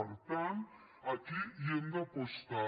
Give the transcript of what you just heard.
per tant aquí hi hem d’apostar